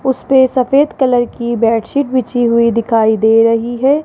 उसपे सफेद कलर की बेडशीट बिछी हुई दिखाई दे रही है।